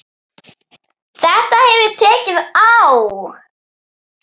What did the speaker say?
Þetta hefur tekið á.